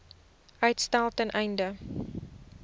uitstel ten einde